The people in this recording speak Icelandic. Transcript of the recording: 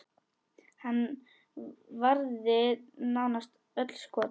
Hann varði nánast öll skot.